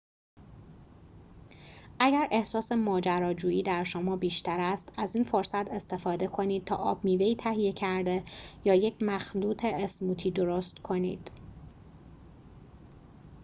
اگر احساس ماجراجویی در شما بیشتر است از این فرصت استفاده کنید تا آب میوه‌ای تهیه کرده یا یک مخلوط اسموتی درست کنید